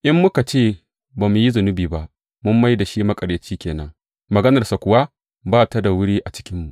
In muka ce ba mu yi zunubi ba, mun mai da shi maƙaryaci ke nan, maganarsa kuwa ba ta da wuri a cikinmu.